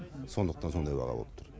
сондықтан сондай баға болып тұр